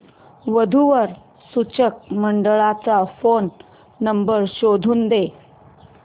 वधू वर सूचक मंडळाचा फोन नंबर शोधून दे